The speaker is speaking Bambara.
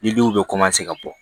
Ni denw bɛ ka bɔ